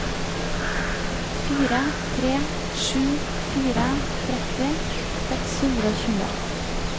fire tre sju fire tretti seks hundre og tjue